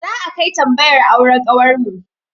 Za'a kai tambayar auren kawarmu.